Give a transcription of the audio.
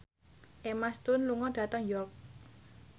Emma Stone lunga dhateng York